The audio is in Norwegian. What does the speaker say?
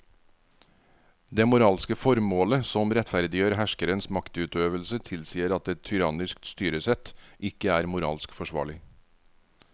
Det moralske formålet som rettferdiggjør herskerens maktutøvelse tilsier at et tyrannisk styresett ikke er moralsk forsvarlig.